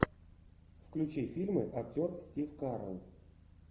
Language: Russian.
включи фильмы актер стив карелл